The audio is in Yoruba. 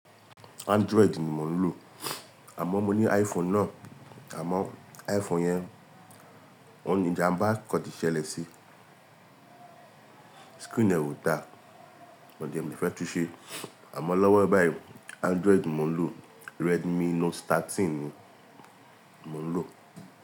Android ni mò ń lò, àmó mo ní iPhone náà, àmó iPhone yẹn, ó ní ìjàmbá kan ti ṣẹlẹ̀ sí, screen rẹ̀ ò dáa, mo jẹ̀mí fẹ́ tuṣe, àmó lọ́wọ́ báyìí Android mò ń lò, Redmi Note thirteen ni mò ń lò.